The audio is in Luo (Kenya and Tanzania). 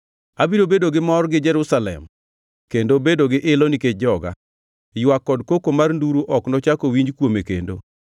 Abiro bedo gi mor gi Jerusalem kendo bedo gi ilo nikech joga; ywak kod koko mar nduru ok nochak owinji kuome kendo.